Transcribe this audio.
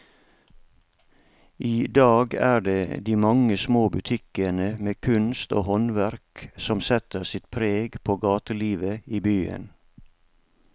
I dag er det de mange små butikkene med kunst og håndverk som setter sitt preg på gatelivet i byen.